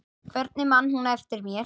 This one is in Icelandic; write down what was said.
Hvernig man hún eftir mér?